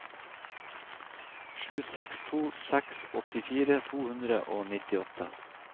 sju seks to seks åttifire to hundre og nittiåtte